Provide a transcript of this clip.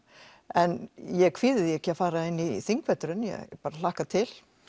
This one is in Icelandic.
en ég kvíði því ekki að fara inn í þingveturinn ég bara hlakka til